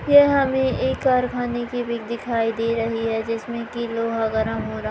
यह हमें एक कारखाने की पिक दिखाई दे रही है जिसमें की लोहा गरम हो रहा--